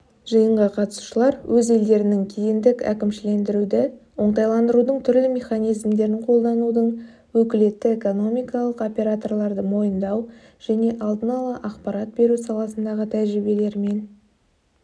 жиынға қатысушылар өз елдерінің кедендік әкімшілендіруді оңтайландырудың түрлі механизмдерін қолданудың өкілетті экономикалық операторларды мойындау және алдын-ала ақпарат беру саласындағы тәжірибелерімен